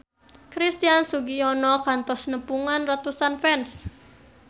Christian Sugiono kantos nepungan ratusan fans